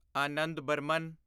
Anand Burman